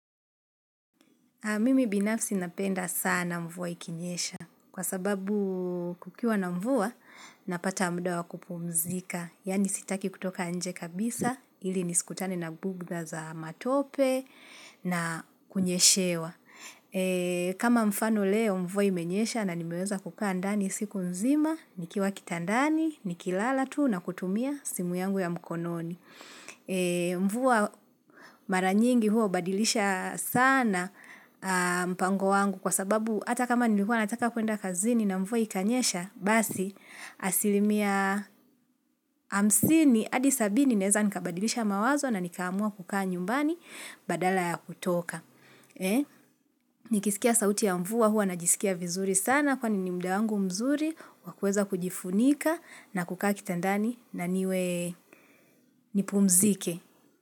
Mimi binafsi napenda sana mvuwa ikinyesha. Kwa sababu kukiwa na mvuwa, napata muda wa kupumzika. Yaani sitaki kutoka nje kabisa, ili nisikutane na bugdha za matope na kunyeshewa. Kama mfano leo, mvua imenyesha na nimeweza kukaa ndani siku nzima, nikiwa kitandani, nikilala tuu na kutumia simu yangu ya mkononi. Mvua mara nyingi hua hubadilisha sana mpango wangu kwa sababu hata kama nilikuwa nataka kuenda kazini na mvua ikanyesha, basi asilimia hamsini hadi sabini naeza nikabadilisha mawazo na nikaamua kukaa nyumbani badala ya kutoka Nikisikia sauti ya mvua hua najisikia vizuri sana kwani ni muda wangu mzuri wa kuweza kujifunika na kukaa kitandani na niwe nipumzike.